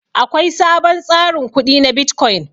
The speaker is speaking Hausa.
Akwai sabon tsarin kudi na bitcoin.